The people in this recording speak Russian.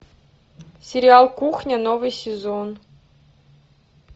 сериал кухня новый сезон